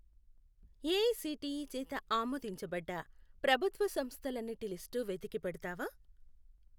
AICTE చేత ఆమోదించబడ్డ ప్రభుత్వ సంస్థలన్నిటి లిస్టు వెతికి పెడతావా?